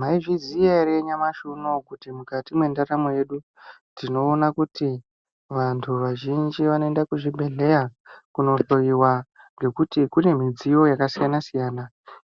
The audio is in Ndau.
Maizviziya here nyamashi uno kuti mukati mwendaramo yedu tinoona kuti vantu vazhinji vanoenda kuzvibhedhlera kunohloyiwa nekuti kune midziyo yakasiyana siyana